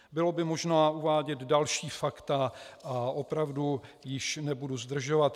Bylo by možné uvádět další fakta a opravdu již nebudu zdržovat.